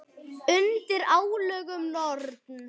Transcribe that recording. Undir álögum Norn!